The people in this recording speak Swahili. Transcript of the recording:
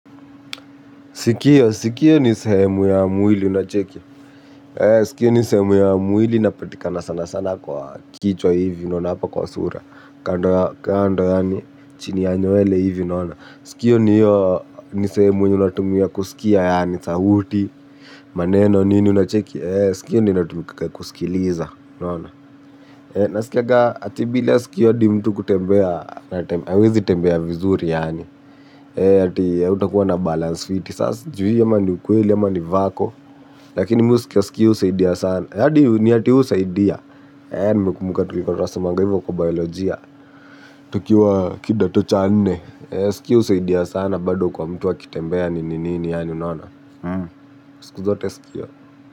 Sikio ni sehemu ya mwili unacheki. Sikio ni sehemu ya mwili inapatikana sana sana kwa kichwa hivi unaona hapa kwa sura. Kando yani chini ya nywele hivyo. Sikio ni iyo ni sehemu yenye unatumia kusikia yani sauti maneno nini unacheki. Hivyo ndio inatumika kusikiliza unaona. Nasikiaga ati bila sikio adi mtu kutembea, hawezi tembea vizuri yaani, ati utakuwa na balance fiti, sasa sjui ama ni ukweli ama ni vako, lakini mi husikia sikio husaidia sana, adi ni ati husaidia, nimekumuka tukikuwa tunasomanga hivyo kwa biolojia, tukiwa kidato cha nne, sikio husaidia sana bado kwa mtu akitembea nini nini yaani, yaani, yaani sikuzote sikio.